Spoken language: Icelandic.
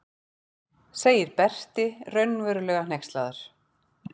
segir Berti raunverulega hneykslaður.